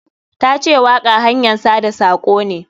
Ta ce waƙa hanyan sada sako ne.